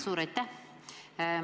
Suur aitäh!